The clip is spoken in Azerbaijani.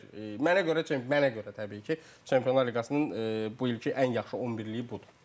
Yəni mən belə bir mənə görə, mənə görə təbii ki, Çempionlar Liqasının bu ilki ən yaxşı 11-liyi budur.